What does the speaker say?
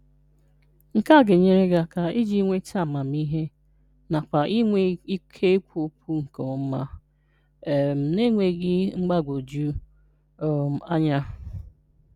Nke a ga-enyere gị aka iji nweta amamihe nakwa inwe ike kwuo okwu nke ọma um na-enweghị mgbagwoju um anya